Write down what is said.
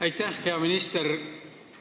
Aitäh, hea minister!